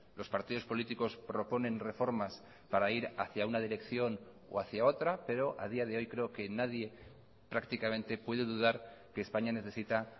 los partidos políticos proponen reformas para ir hacia una dirección o hacia otra pero a día de hoy creo que nadie prácticamente puede dudar que españa necesita